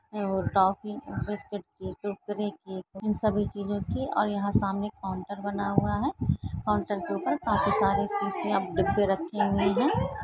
Biscuit की इन सभी की रखी हैं और सामने काउंटर बना हुआ हैं काउंटर के ऊपर काफी सारे शिशिया डिब्बे रखे हुए हैं।